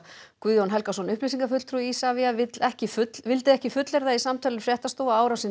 Guðjón Helgason upplýsingafulltrúi Isavia vill ekki fullyrða ekki fullyrða í samtali við fréttastofu að árásin